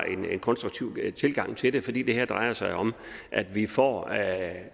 en konstruktiv tilgang til det fordi det her jo drejer sig om at vi får